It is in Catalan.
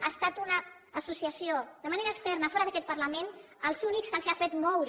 han estat una associació de manera externa fora d’aquest parlament els únics que els han fet moure